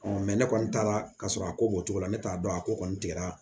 ne kɔni taara ka sɔrɔ a ko b'o cogo la ne t'a dɔn a ko kɔni tigɛra